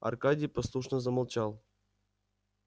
аркадий послушно замолчал